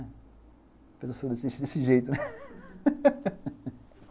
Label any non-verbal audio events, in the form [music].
A pessoa [unintelligible] [laughs] desse jeito, aham.